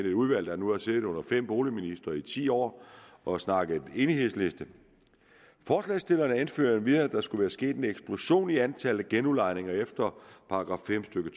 et udvalg der nu har siddet under fem boligministre i ti år og snakket om en enighedsliste forslagsstillerne anfører endvidere at der skulle være sket en eksplosion i antallet af genudlejninger efter § fem stykke